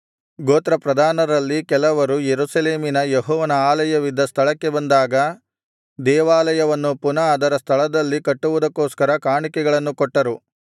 ಗೋತ್ರಪ್ರಧಾನರಲ್ಲಿ ಕೆಲವರು ಯೆರೂಸಲೇಮಿನಲ್ಲಿ ಯೆಹೋವನ ಆಲಯವಿದ್ದ ಸ್ಥಳಕ್ಕೆ ಬಂದಾಗ ದೇವಾಲಯವನ್ನು ಪುನಃ ಅದರ ಸ್ಥಳದಲ್ಲಿ ಕಟ್ಟುವುದಕ್ಕೋಸ್ಕರ ಕಾಣಿಕೆಗಳನ್ನು ಕೊಟ್ಟರು